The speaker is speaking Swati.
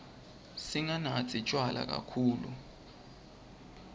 singanatsi tjwala kakhulu